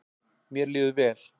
Mér líður vel.